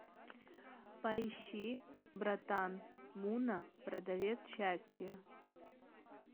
поищи братан мунна продавец счастья